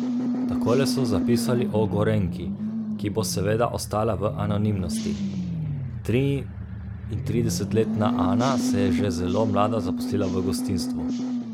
Takole so zapisali o Gorenjki, ki bo seveda ostala v anonimnosti: 'Triintridesetletna Ana se je že zelo mlada zaposlila v gostinstvu.